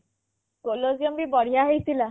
colliseum ଭି ବଢ଼ିଆ ହେଇଥିଲା